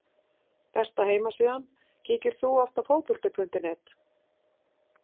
Besta heimasíðan Kíkir þú oft á Fótbolti.net?